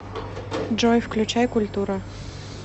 джой включай культура